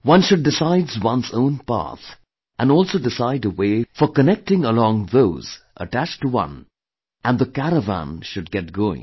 One should decide one's own path and also decide a way for connecting along those attached to one and the Caravan should get going